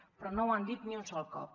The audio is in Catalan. però no ho han dit ni un sol cop